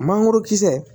Mangoro kisɛ